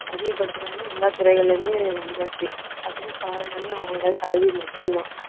அதிகப்படுத்துனாங்க எல்லா துறைகளிலுமே வந்தாச்சு அதுக்கு காரணமே அவங்களோட கல்வி மட்டும்தான்